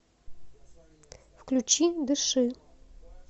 включи дыши